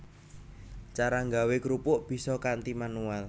Cara nggawé krupuk bisa kanthi manual